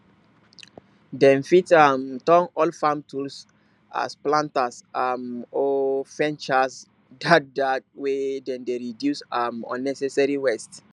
dem fit um turn old farm tools as planters um or fencers dat dat way dem dey reduce um unnecessary waste